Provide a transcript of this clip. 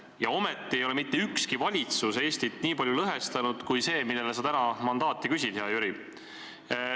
Ja ometi ei ole mitte ükski valitsus Eestit nii palju lõhestanud kui see, kellele sa täna mandaati küsid, hea Jüri.